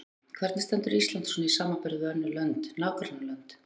Erla: Hvernig stendur Ísland svona í samanburði við önnur lönd, nágrannalönd?